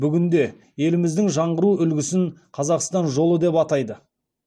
бүгінде еліміздің жаңғыру үлгісін қазақстан жолы деп атайды